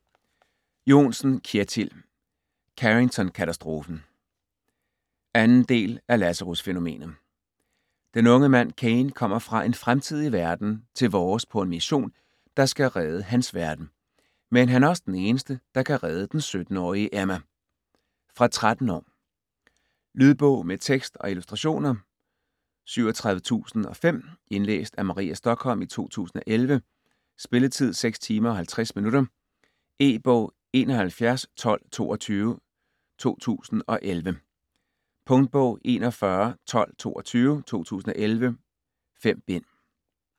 Johnsen, Kjetil: Carringtonkatastrofen 2. del af Lazarusfænomenet. Den unge mand Caine kommer fra en fremtidig verden til vores på en mission, der skal redde hans verden. Men han er også den eneste, der kan redde den 17-årige Emma. Fra 13 år. Lydbog med tekst og illustrationer 37005 Indlæst af Maria Stokholm, 2011. Spilletid: 6 timer, 50 minutter. E-bog 711222 2011. Punktbog 411222 2011. 5 bind.